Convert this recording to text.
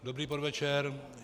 Dobrý podvečer.